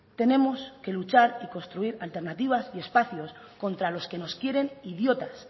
tenemos que luchar y construir alternativas y espacios contra los que nos quieren idiotas